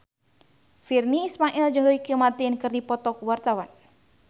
Virnie Ismail jeung Ricky Martin keur dipoto ku wartawan